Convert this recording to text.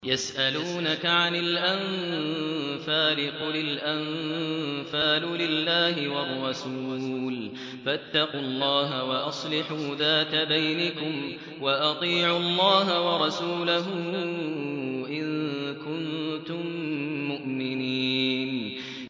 يَسْأَلُونَكَ عَنِ الْأَنفَالِ ۖ قُلِ الْأَنفَالُ لِلَّهِ وَالرَّسُولِ ۖ فَاتَّقُوا اللَّهَ وَأَصْلِحُوا ذَاتَ بَيْنِكُمْ ۖ وَأَطِيعُوا اللَّهَ وَرَسُولَهُ إِن كُنتُم مُّؤْمِنِينَ